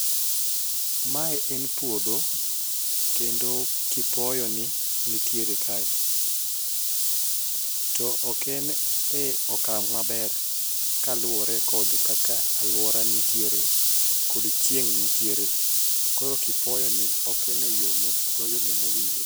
Mae en puodho kendo kipoyo ni nitiere kae to ok en e okang' maber kaluwore kod kaka aluora nitiere kod chieng nitiere koro kipoyo ni ok en eyono mowinjore